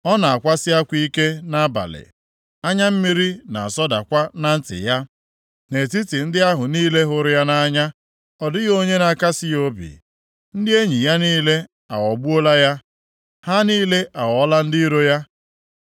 Ọ na-akwasị akwa ike nʼabalị, anya mmiri na-asọdakwa na nti ya, nʼetiti ndị ahụ niile hụrụ ya nʼanya, ọ dịghị onye na-akasị ya obi. Ndị enyi ya niile aghọgbuola ya; ha niile aghọọla ndị iro ya.